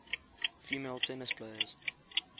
female tennis players